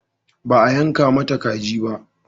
Ba a yanka mata kaji ba?